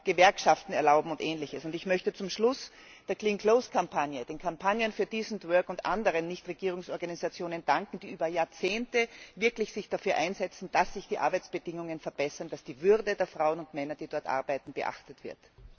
verbessern, Gewerkschaften erlauben und Ähnliches. Ich möchte zum Schluss der Kampagne für Saubere Kleidung, den Kampagnen für Decent Work und anderen Nichtregierungsorganisationen danken, die sich über Jahrzehnte wirklich dafür einsetzen, dass sich die Arbeitsbedingungen verbessern, dass die Würde der Frauen und Männer, die dort arbeiten, beachtet wird.